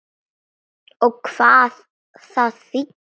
Og hvað það þýddi.